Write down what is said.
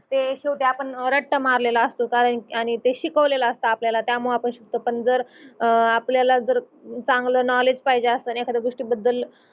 ते शेवटी आपन रट्टा मारलेल असतो कारण आणि ते शिकवलेलं अस्ता आपल्याला त्या मूळ आपन जर आपल्याला जर चांगल नोवलेड्ज पाहिजे अस त्या गोष्टी बद्दल